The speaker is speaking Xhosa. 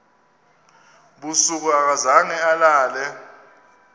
busuku akazange alale